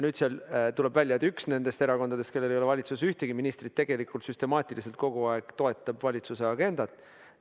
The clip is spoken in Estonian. Nüüd tuleb aga välja, et üks nendest erakondadest, kellel ei ole valitsuses ühtegi ministrit, tegelikult süstemaatiliselt kogu aeg toetab valitsuse agendat.